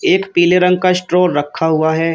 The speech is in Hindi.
एक पीले रंग का स्ट्रोर रखा हुआ है।